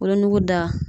Wolonugu da